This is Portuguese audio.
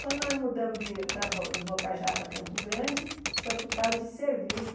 Quando nós mudamos de para do Bocajá para Campo Grande, foi por causa de serviço.